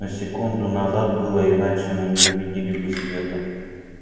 но секунду назад было иначе мы не увидели бы света